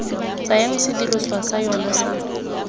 tsayang sedirisiwa sa yona sa